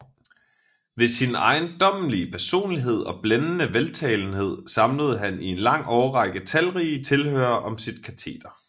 Ved sin ejendommelige personlighed og blændende veltalenhed samlede han i en lang årrække talrige tilhørere om sit kateder